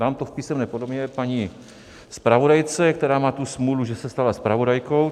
Dám to v písemné podobě paní zpravodajce, která má tu smůlu, že se stala zpravodajkou.